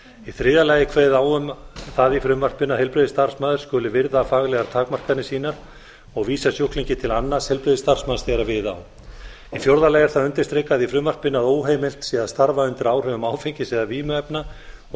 í þriðja lagi er kveðið á um það í frumvarpinu að heilbrigðisstarfsmaður skuli virða faglegar takmarkanir sínar og vísa sjúklingi til annars heilbrigðisstarfsmanns þegar við á í fjórða lagi er það undirstrikað í frumvarpinu að óheimilt sé að starfa undir áhrifum áfengis eða vímuefna og er